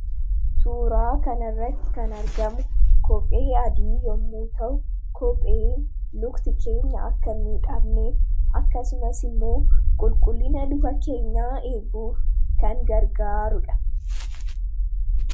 Suuraa kana irratti kan argamu kophee adii yommuu ta'u, kopheen miilli keenya akka hin miidhamneef akkasumas qulqullina miilla keenyaa eeguuf kan gargaaruudha.